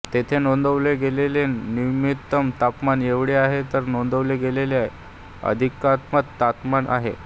येथे नोंदवले गेलेले न्यूनतम तापमान एवढे आहे तर नोंदवले गेलेले अधिकतम तापमान आहे